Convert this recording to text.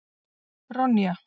Ronja